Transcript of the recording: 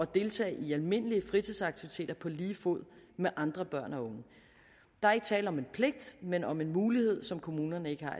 deltage i almindelige fritidsaktiviteter på lige fod med andre børn og unge der er ikke tale om en pligt men om en mulighed som kommunerne ikke har